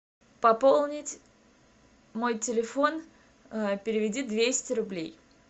пополнить мой телефон переведи двести рублей